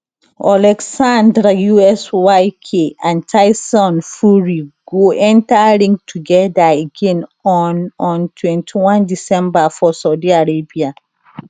oleksandr usyk and tyson fury go enta ring togeda again on on 21 december for saudi arabia